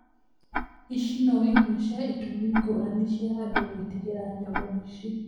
ici no imwe cia itũmi ngũrani cia andũ gwĩtigĩra nyamu ici.